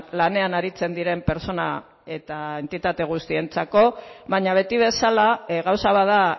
lanean aritzen diren pertsona eta entitate guztientzako baina beti bezala gauza bat da